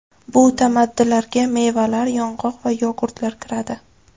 Bu tamaddilarga, mevalar, yong‘oq va yogurtlar kiradi.